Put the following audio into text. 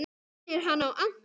Minnir hana á Anton!